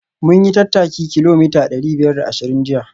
Mun yi tattaki kilomita dari biyar da ashirin jiya